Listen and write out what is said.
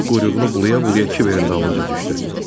O quyruğunu bulaya-bulaya kiverin dalınca düşdü.